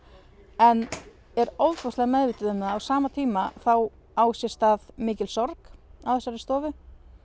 en er ofboðslega meðvituð um það að á sama tíma á sér stað mikil sorg á þessari stofu